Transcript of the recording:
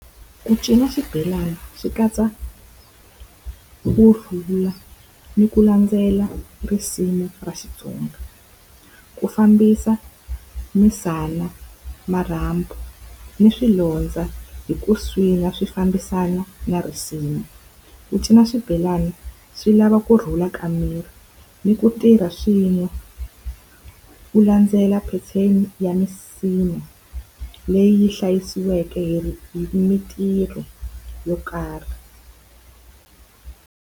Ku cina xibelana xi katsa kurhula ni ku landzela risimu ra Xitsonga. Ku fambisa misala, marhambu, ni swilondza hi ku swi fambisana na risimu. Ku cina swibelani swi lava kurhula ka miri ni ku tirha swin'we ku landzela pheteni ya misinya leyi hlayisiweke hi hi mintirho yo karhi.